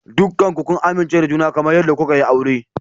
Dukanku ku amince da juna kamar yadda kuka yi aure.